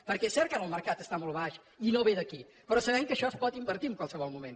perquè és cert que ara el mercat està molt baix i no ve d’aquí però sabem que això es pot invertir en qualsevol moment